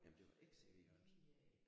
Jamen det var ikke C V Jørgensen